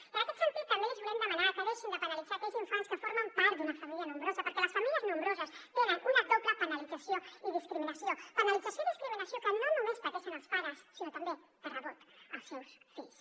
i en aquest sentit també els volem demanar que deixin de penalitzar aquells infants que formen part d’una família nombrosa perquè les famílies nombroses tenen una doble penalització i discriminació penalització i discriminació que no només pateixen els pares sinó també de rebot els seus fills